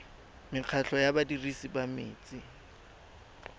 mekgatlho ya badirisi ba metsi